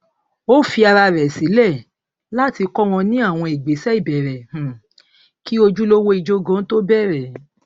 ó fi ara rẹ sílẹ láti kọ wọn ní àwọn ìgbésẹ ìbẹrẹ um kí ojúlówó ijó gan tó bẹrẹ